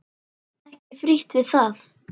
Ekki frítt við það!